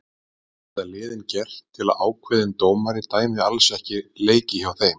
Hvað geta liðin gert til að ákveðin dómari dæmi alls ekki leiki hjá þeim?